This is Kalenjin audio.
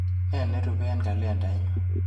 Nee nerupe eng kalendainyu?